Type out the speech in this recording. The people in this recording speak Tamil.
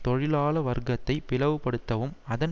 தொழிலாள வர்க்கத்தை பிளவுபடுத்தவும் அதன்